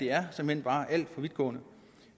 er såmænd bare alt for vidtgående